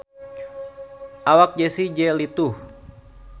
Awak Jessie J lintuh